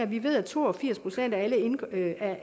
vi ved at to og firs procent af